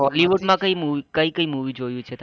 Hollywood માં કઈ movie કઈ કઈ મુવી જોયું છે તમે